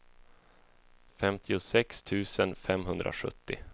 femtiosex tusen femhundrasjuttio